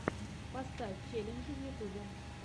поставь челленджи в ютьюбе